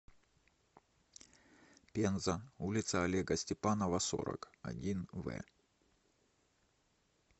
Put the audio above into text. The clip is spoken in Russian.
пенза улица олега степанова сорок один в